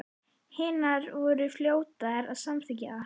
Hinar voru fljótar að samþykkja það.